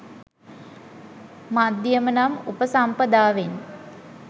මධ්‍යම නම් උපසම්පදාවෙන්